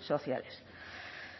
sociales